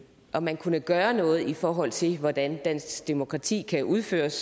om man kunne gøre noget i forhold til hvordan dansk demokrati kan udføres